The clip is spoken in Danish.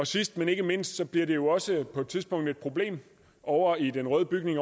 sidst men ikke mindst bliver det jo også på et tidspunkt et problem ovre i den røde bygning